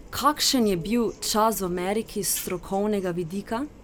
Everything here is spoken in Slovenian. Kakšen je bil čas v Ameriki s strokovnega vidika?